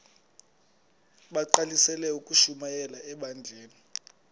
bagqalisele ukushumayela ebandleni